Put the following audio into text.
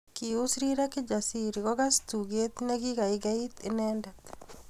Kius rirek Kijasiri kokas tuget nekikaiget inendet